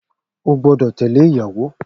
O gbọ́dọ̀ tẹ̀lẹ́ ìyàwó